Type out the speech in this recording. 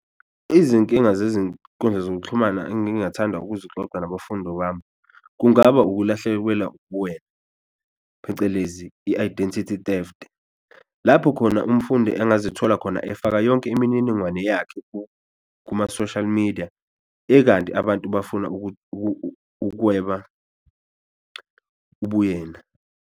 Izinkinga zezinkundla zokuxhumana engingathanda ukuzixoxa nabafundo bami kungaba ukulahlekwelwa ubuwena phecelezi i-identity theft, lapho khona umfundi engazithola khona efaka yonke imininingwane yakhe kuma-social media ekanti abantu bafuna ukuthi ukweba ubuyena.